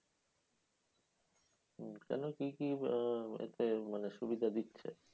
কেন? কি কি আহ এতে মানে সুবিধা দিচ্ছে?